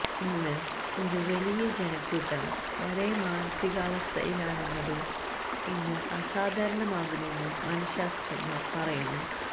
ഇന്ന് ഒരു വലിയ ജനക്കൂട്ടം ഒരേ മാനസികാവസ്ഥയിലാണെന്നത് ഇന്ന് അസാധാരണമാകുമെന്ന് മനശാസ്ത്രജ്ഞർ പറയുന്നു